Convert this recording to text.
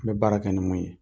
An bɛ baara kɛ ni mun ye